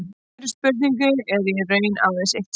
Við þeirri spurningu er í raun aðeins eitt svar.